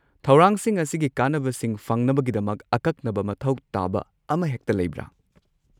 ꯊꯧꯔꯥꯡꯁꯤꯡ ꯑꯁꯤꯒꯤ ꯀꯥꯟꯅꯕꯁꯤꯡ ꯐꯪꯅꯕꯒꯤꯗꯃꯛ ꯑꯀꯛꯅꯕ ꯃꯊꯧ ꯇꯥꯕ ꯑꯃꯍꯦꯛꯇ ꯂꯩꯕ꯭ꯔꯥ?